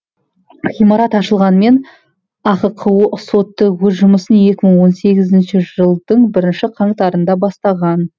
ғимарат ашылғанмен ахқо соты өз жұмысын екі мың он сегізінші жылдың бірінші қаңтарында бастаған